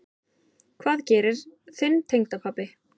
Hvað gerir þinn tengdapabbi?